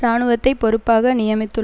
இராணுவத்தை பொறுப்பாக நியமித்துள்